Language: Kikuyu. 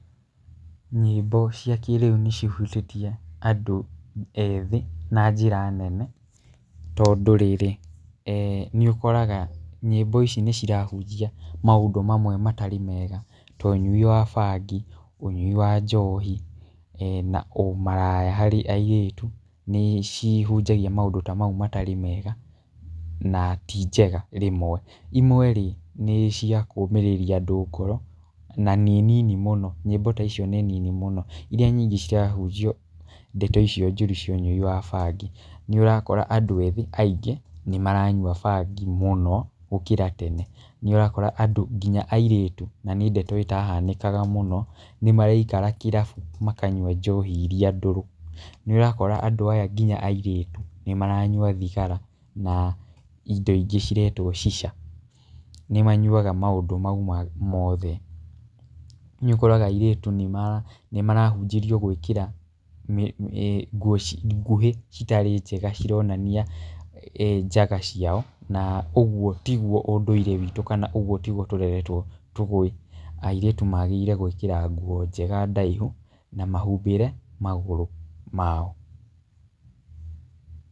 Nyĩmbo cia kĩĩrĩu nĩ cihutĩtie andũ ethĩ na njĩra nene tondũ rĩrĩ nĩ ũkoraga nyĩmbo ici nĩ cirahunjia maũndũ mamwe matarĩ mega ta ũnyui wa bangi, ũnyui wa njohi, na ũmaraya harĩ airĩtu. Nĩ cihunjagia maũndũ ta mau matarĩ mega na ti njega rĩmwe. Imwe rĩ nĩ cia kũũmĩrĩria andũ ngoro na nĩ nini mũno, nyĩmbo ta icio nĩ nini mũno. Irĩa nyingĩ cirahunjia ndeto icio njũru cia ũnyui wa bangi. Nĩ ũrakora andũ ethĩ nĩ maranyua bangi mũno gũkĩra tene. Nĩ ũrakora andũ nginya airĩtu na nĩ ndeto ĩtahanĩkaga mũno nĩ maraikara kĩrabu makanyua njohi irĩa ndũrũ. Nĩ ũrakora andũ aya nginya airĩtu nĩ maranyua thigara na indo ingĩ ciretwo shisha. Nĩ manyuaga maũndũ mau mothe. Nĩ ũkoraga airĩtu nĩ marahunjĩrio gwĩkĩra nguo nguhĩ citarĩ njega cironania njaga ciao. Na ũguo tiguo ũndũire witũ na kana ũguo tiguo tũreretwo tũĩ. Airĩtu maagĩrĩire gwĩkĩra njĩra njega ndaihu na mahumbĩre magũrũ mao.